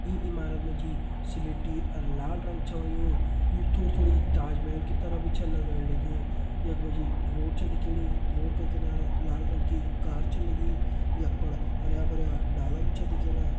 ये ईमारत माँ जी सिलेटी और लाल रंग छ होयुं यु थोड़ी थोड़ी ताजमहल की तरह भी छ लग्ण लगु यख मा जी रोड दिखेणी रोड का किनारा लाल रंग की कार छ लगीं यख फण हरयां भर्यां डाला भी छा दिखेणा।